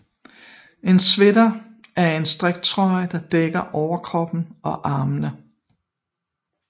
En sweater er en strikket trøje der dækker overkroppen og armene